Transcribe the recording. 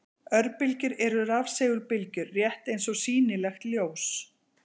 Örbylgjur eru rafsegulbylgjur, rétt eins og sýnilegt ljós.